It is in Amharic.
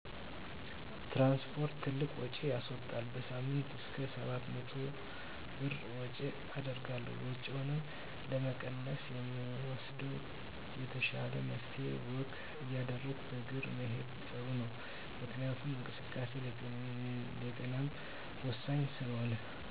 ትራንስፖርት ትልቅ ውጭ ያስዎጣል። በሳምንይ እስከ 700 ብር ወጭ አደርጋለሁ። ወጭንም ለመቀነስ የምወስደው የተሻለው መፍትሄ ወክ እያደረጉ በእግር መሄድ ጥሩ ነው። ምክንያቱም እንቅስቃሴ ለጤናም ወሳኝ ስለሆነ።